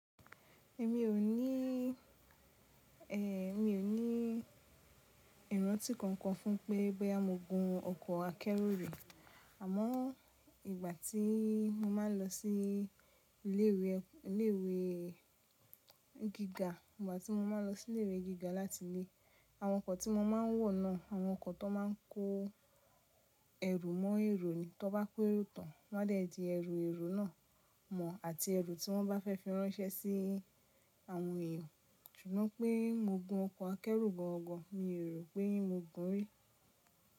Èmi ò ní, e, èmi ò ní ìrántí kankan fún pé bóyá mo gun ọkọ̀ akẹ́rù rí, àmọ́ ìgbà tí mo máa ń lọ sí ilé ìwé, ilé ìwé gíga ìgbà tí mo máa ń lọ sí ilé ìwé gíga láti ilé, àwọn ọkọ̀ tí mo máa ń wọ̀ náà àwọn ọkọ̀ tó máa ń kó ẹrù mọ́ èrò ni, tó bá pé ró tán wọ́n á dẹ́ di ẹrù èrò náà mọ̀ àti ẹrù tí wọ́n bá fẹ́ fi ránṣẹ́ sí àwọn èèyàn. Ṣùgbọ́n pé mo gun ọkọ̀ akẹ́rù gan an gan mi ò rò pé mo gun rí.